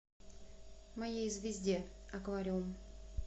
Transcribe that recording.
моей звезде аквариум